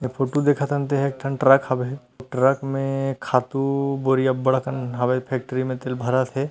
इ फुटू देखतन तेह एक ठन ट्रैक हवे ट्रक मे खातू बोरिया अबड़डकन हवय फेक्ट्री मे तेला भरत हे।